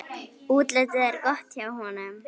Útlitið er gott hjá honum.